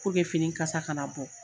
fini kasa kana bɔ.